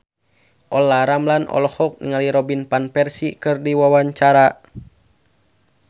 Olla Ramlan olohok ningali Robin Van Persie keur diwawancara